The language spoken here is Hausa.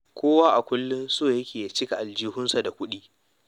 Kowa a kullum so yake ya cika aljihunsa da kuɗi.